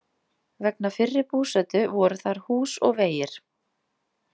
Vegna fyrri búsetu voru þar hús og vegir.